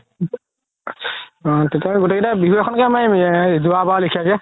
তেতিয়া হ'লে গুতেই কেইটাই বিহু এখন কে মাৰিম যুৱা বাৰ লেখিয়াকে